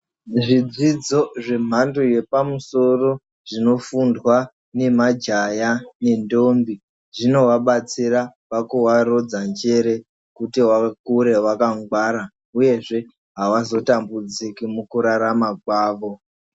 Zvidzidzo zvemhando yepamusoro zvinofundwa nemajaha nendombi zvinovabatsira pakuvarodza njere kuti vakure vakangwara uyezve avazo tambudziki mukurarama kwavo.